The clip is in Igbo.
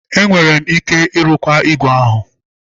Enwere m ike ịrụkwa ígwè ahụ.